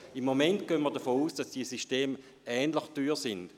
Im Moment gehen wir davon aus, dass die beiden Systeme ähnlich teuer sind.